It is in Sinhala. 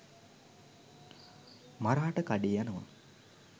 මරාට කඩේ යනව.